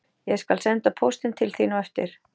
Ég skal senda póstinn til þín á eftir